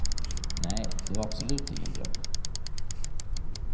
Nej, det var absolut ingen dröm.